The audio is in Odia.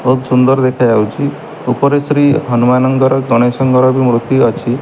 ବହୁତ ସୁନ୍ଦର ଦେଖାଯାଉଛି ଉପରେ ଶ୍ରୀହନୁମାନଙ୍କର ଗଣେଶଙ୍କର ବି ମୂର୍ତ୍ତି ଅଛି।